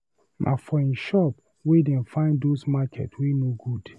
Na for him shop wey dey find those market wey no good.